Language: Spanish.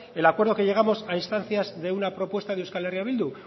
el acuerdo a que llegamos a instancias de una propuesta de euskal herria bildu